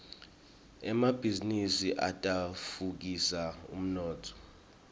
emabhizinisi atfutfukisa umnotfo